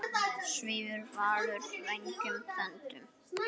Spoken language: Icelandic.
Svífur Valur vængjum þöndum?